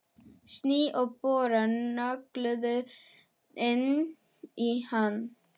Sný og bora nöglunum inn í hann.